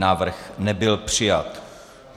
Návrh nebyl přijat.